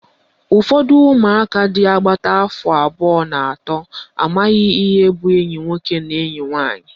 Ụfọdụ umụaka dị agbata afọ abụọ na atọ amaghị ihe bụ enyi nwoke na enyi nwaanyị